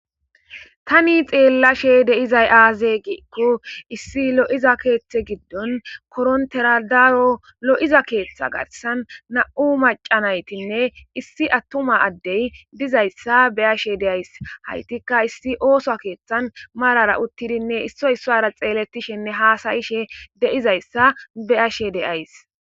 Tani xeellashe deizay aaze giikko issi lo7iza keeththe giddon koronteradaaro lo7iza keeththa garsan na7u macanaytinne issi attuma addey dizayssa beyashe deays haytikka issi ooso keeththan marara uttidinne issoy sara xeeletishenne haasayishe deizayssa beyashe deays.